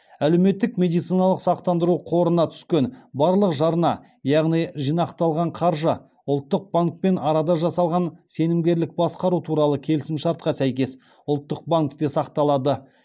әлеуметтік медициналық сақтандыру қорына түскен барлық жарна яғни жинақталған қаржы ұлттық банкпен арада жасалған сенімгерлік басқару туралы келісімшартқа сәйкес ұлттық банкте сақталады